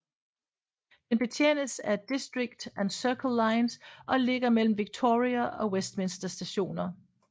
Den betjenes af District og Circle lines og ligger mellem Victoria og Westminster Stationer